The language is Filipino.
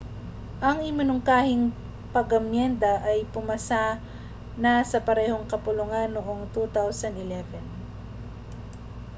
ang iminungkahing pag-amyenda ay pumasa na sa parehong kapulungan noong 2011